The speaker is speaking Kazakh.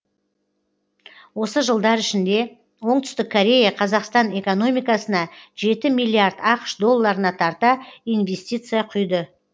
осы жылдар ішінде оңтүстік корея қазақстан экономикасына жеті миллиард ақш долларына тарта инвестиция құйды